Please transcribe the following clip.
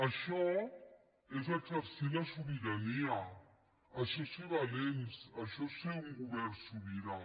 això és exercir la sobirania això és ser valents això és ser un govern sobirà